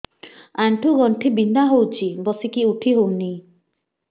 ଆଣ୍ଠୁ ଗଣ୍ଠି ବିନ୍ଧା ହଉଚି ବସିକି ଉଠି ହଉନି